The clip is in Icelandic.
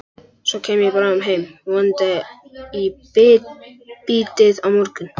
Svo kem ég bráðum heim, vonandi í bítið á morgun.